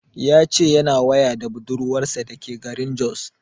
Ya ce yana waya da budurwar sa da ke garin Jos